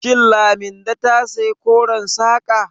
Shin Laminde ta saya koren saƙa?